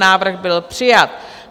Návrh byl přijat.